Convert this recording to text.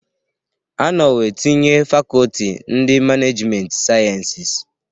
A nọwa atinye fakoti ndi manajiment sayensis.